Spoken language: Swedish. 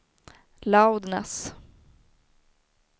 loudness